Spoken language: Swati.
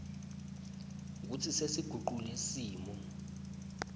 kutsi sesigucule simo